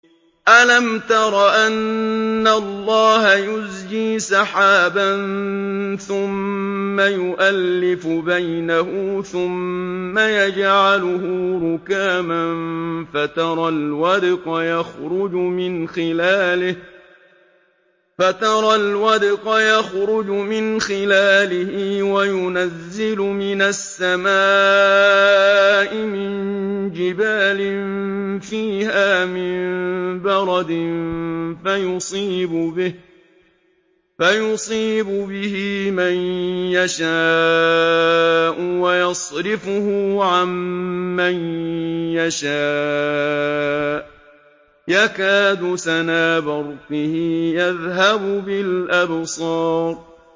أَلَمْ تَرَ أَنَّ اللَّهَ يُزْجِي سَحَابًا ثُمَّ يُؤَلِّفُ بَيْنَهُ ثُمَّ يَجْعَلُهُ رُكَامًا فَتَرَى الْوَدْقَ يَخْرُجُ مِنْ خِلَالِهِ وَيُنَزِّلُ مِنَ السَّمَاءِ مِن جِبَالٍ فِيهَا مِن بَرَدٍ فَيُصِيبُ بِهِ مَن يَشَاءُ وَيَصْرِفُهُ عَن مَّن يَشَاءُ ۖ يَكَادُ سَنَا بَرْقِهِ يَذْهَبُ بِالْأَبْصَارِ